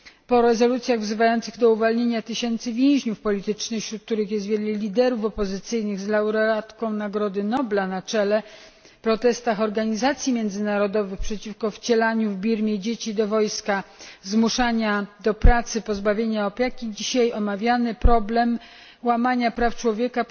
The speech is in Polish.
Po rezolucjach wzywających do uwolnienia tysięcy więźniów politycznych, wśród których jest wielu opozycyjnych liderów z laureatką Nagrody Nobla na czele, protestach organizacji międzynarodowych przeciwko wcielaniu w Birmie dzieci do wojska, zmuszaniu do pracy, pozbawianiu opieki, omawiamy dzisiaj problem łamania praw człowieka.